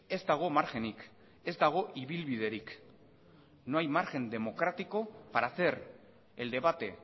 ez dago margenik ez dago ibilbiderik no hay margen democrático para hacer el debate